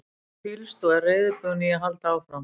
Ég hef hvílst og er reiðubúinn í að halda áfram.